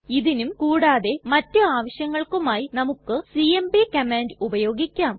ഇതിനും കൂടാതെ മറ്റു ആവശ്യങ്ങൾക്കുമായി നമുക്ക് സിഎംപി കമാൻഡ് ഉപയോഗിക്കാം